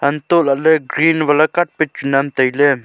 antolaley green vala carpet chu nam tailey.